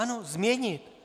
Ano, změnit.